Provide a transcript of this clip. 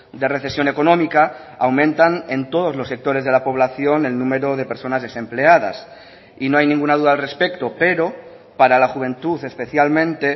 de recesión económica aumentan en todos los sectores de la población el número de personas desempleadas y no hay ninguna duda al respecto pero para la juventud especialmente